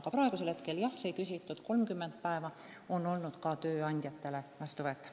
Aga praegu, jah, see küsitud 30 päeva on olnud ka tööandjatele vastuvõetav.